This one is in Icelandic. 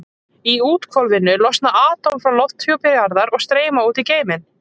Í úthvolfinu losna atóm frá lofthjúpi jarðar og streyma út í geiminn.